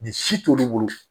Ni si t'olu bolo